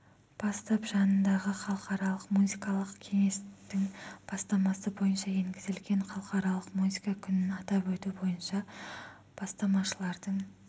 бастап жанындағы халықаралық музыкалық кеңестің бастамасы бойынша енгізілген халықаралық музыка күнін атап өту бойынша бастамашылардың